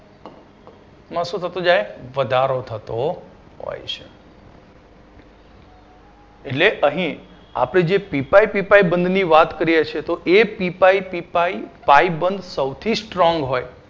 માં શું થતું જાય વધારો થતો હોય છે એટલે અહી આપડે જે પી પાઇ પી પાઇ બંધ ની વાત કરીએ છીએ તો એ P pi P pi pi બંધ સૌથી strong હોય